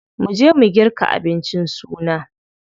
Mu je mu girka abincin suna.